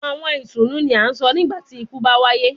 Awọn itunu ni a sọ nigbati iku ba waye